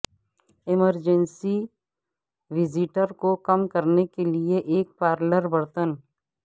emergency visitor کو کم کرنے کے لئے ایک پارلر برتن